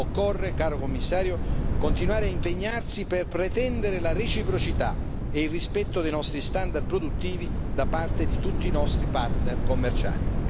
Occorre, caro commissario, continuare a impegnarsi per pretendere la reciprocità e il rispetto dei nostri standard produttivi da parte di tutti i nostri partner commerciali.